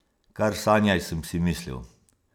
Kar sanjaj, sem si mislil.